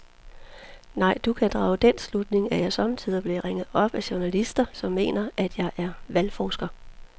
Nej, du kan drage den slutning, at jeg sommetider bliver ringet op af journalister, som mener, at jeg er valgforsker.